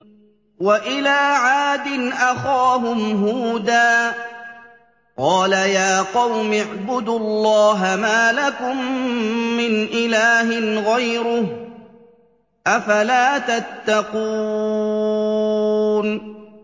۞ وَإِلَىٰ عَادٍ أَخَاهُمْ هُودًا ۗ قَالَ يَا قَوْمِ اعْبُدُوا اللَّهَ مَا لَكُم مِّنْ إِلَٰهٍ غَيْرُهُ ۚ أَفَلَا تَتَّقُونَ